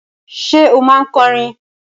Ṣé o máa ń kọrin?